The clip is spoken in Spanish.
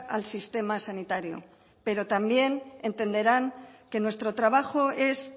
al sistema sanitario pero también entenderán que nuestro trabajo es